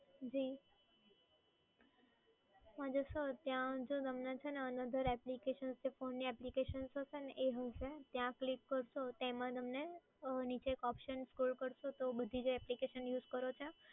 જી ત્યાં છે ને another application છે ને phone ની application જે છે ને? એ છે ત્યાં click કરજો ત્યાં તમને નીચે scroll કરશો એટલે નીચે બધી જે applications છે